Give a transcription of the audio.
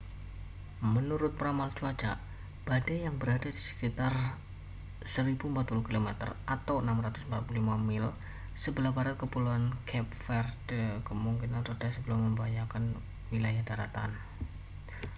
menurut peramal cuaca badai yang berada di sekitar 1040 km 645 mil sebelah barat kepulauan cape verde kemungkinan reda sebelum membahayakan wilayah daratan